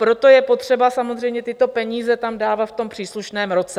Proto je potřeba samozřejmě tyto peníze tam dávat v tom příslušném roce.